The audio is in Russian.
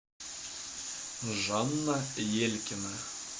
жанна елькина